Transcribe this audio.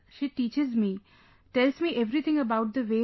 She teaches me; tells me everything about the ways